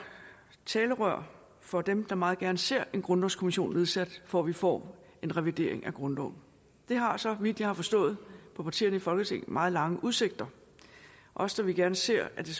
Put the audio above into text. talerør for dem der meget gerne ser en grundlovskommission nedsat for vi få en revision af grundloven det har så vidt jeg har forstået partierne i folketinget meget lange udsigter også da vi gerne ser at det